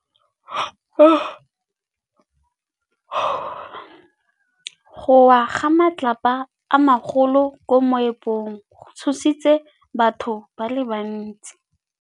Go wa ga matlapa a magolo ko moepong go tshositse batho ba le bantsi.